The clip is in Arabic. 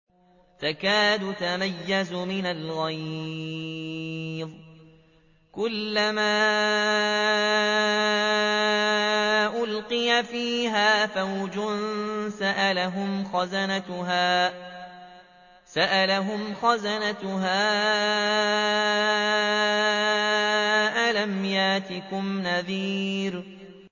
تَكَادُ تَمَيَّزُ مِنَ الْغَيْظِ ۖ كُلَّمَا أُلْقِيَ فِيهَا فَوْجٌ سَأَلَهُمْ خَزَنَتُهَا أَلَمْ يَأْتِكُمْ نَذِيرٌ